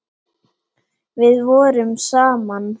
Við vorum saman í